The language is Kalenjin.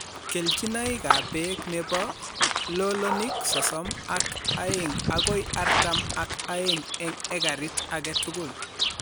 keljinoikap peek nebo lolonik sosom ak aeng' agoi artam ak aeng' eng' ekarit age tugul.